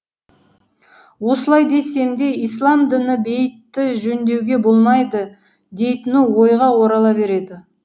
осылай десем де ісләм діні бейітті жөндеуге болмайды дейтіні ойға орала береді